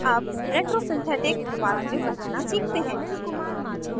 अब retrosynthetic retrosynthetic pathway बनाना सीखते हैं